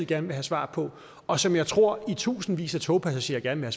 gerne vil have svar på og som jeg tror i tusindvis af togpassagerer gerne